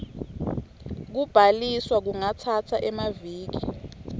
kubhaliswa kungatsatsa emaviki